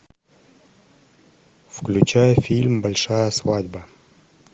включай фильм большая свадьба